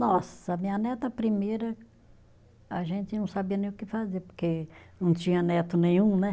Nossa, minha neta primeira, a gente não sabia nem o que fazer, porque não tinha neto nenhum, né?